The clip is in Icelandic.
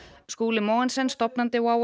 Skúli Mogensen stofnandi WOW